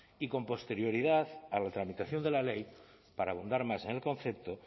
y con posterioridad a la tramitación de la ley para abundar más en el concepto